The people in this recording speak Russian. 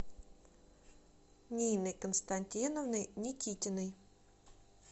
ниной константиновной никитиной